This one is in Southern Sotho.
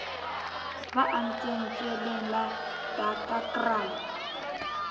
ba antseng tsweleng la daggakraal